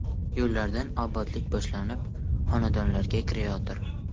Yo‘llardan obodlik boshlanib, xonadonlarga kirayotir.